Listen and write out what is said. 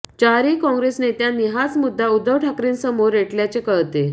चारही काँग्रेस नेत्यांनी हाच मुद्दा उद्धव ठाकरेंसमोर रेटल्याचे कळते